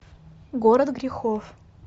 город грехов